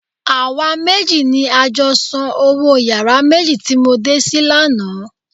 Àwa méjì ni a jọ san owó yàrá méjì tí mo dé sí lánàá.